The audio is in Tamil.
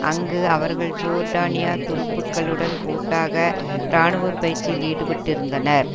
அங்கு அவர்கள் ஜோர்டானிய துருப்புக்களுடன் கூட்டாக இராணுவ பயிற்சியில் ஈடுபட்டிருந்தனர்